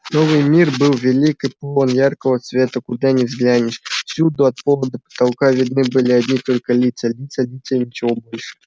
новый мир был велик и полон яркого света куда ни взглянешь всюду от пола до потолка видны были одни только лица лица лица и ничего больше